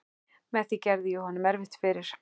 Með því gerði ég honum erfitt fyrir.